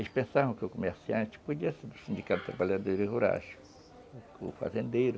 Eles pensavam que o comerciante podia ser o sindicato de trabalhadores rurais, o fazendeiro.